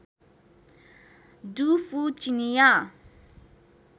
do Fu चिनियाँ